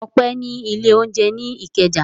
Ọpẹ́ ní ilé-oúnjẹ ní Ìkẹjà.